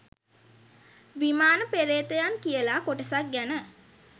විමාන පේ්‍රතයන් කියලා කොටසක් ගැන.